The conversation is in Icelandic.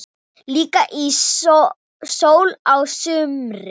Líka í sól á sumrin.